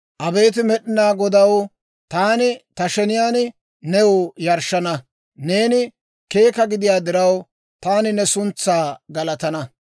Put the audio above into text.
Abeet Med'inaa Godaw, taani ta sheniyaan new yarshshana; neeni keeka gidiyaa diraw, Taani ne suntsaa galatana.